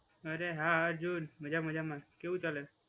અરે હા અર્જુન, બધા મજામાં. કેવું ચાલે છે?